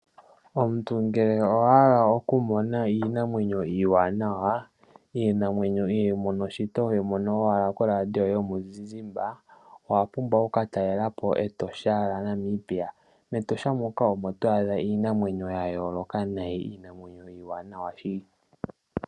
Omuntu ngele owa hala okumona iinamwenyo iiwanawa, iinamwenyo ihooyi mono shito hoyi mono owala koradio yomizizimba, owa pumbwa okuka talela po Etosha lya Namibia. MEtosha muka omo to adha iinamwenyo ya yooloka nayi, iinamwenyo iiwanawa shili.